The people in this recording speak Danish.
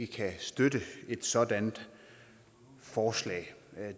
kan støtte et sådant forslag